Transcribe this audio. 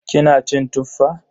Kina cin Tuffa?